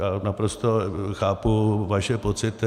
Já naprosto chápu vaše pocity.